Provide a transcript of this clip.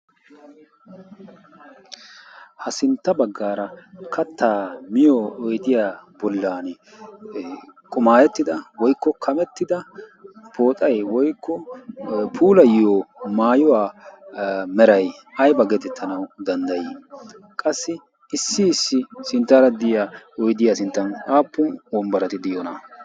ha sintta baggaara kattaa miyo oidiya bollan qumaayettida woikko kamettida pooxai woikko puulayyo maayuwaa merai aiba baggetettanau danddayii? qassi issi issi sinttaara diya oidiyaa sinttan aappun ombbarati diyoona?